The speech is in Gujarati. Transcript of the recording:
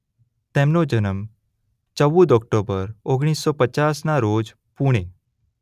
તેમનો જન્મ ચૌદ ઓક્ટોબર ઓગણીસ સો પચાસના રોજ પૂણે